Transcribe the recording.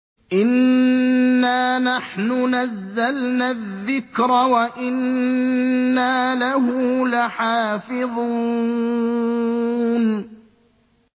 إِنَّا نَحْنُ نَزَّلْنَا الذِّكْرَ وَإِنَّا لَهُ لَحَافِظُونَ